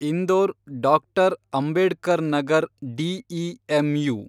Indore doctor. Ambedkar Nagar DEMU